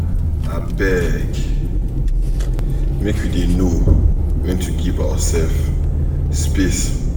Abeg make we dey know wen to give oursef space.